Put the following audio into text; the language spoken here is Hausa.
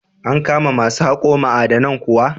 An kama ma su haƙo ma'adanan kuwa?